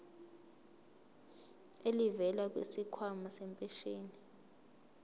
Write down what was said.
elivela kwisikhwama sempesheni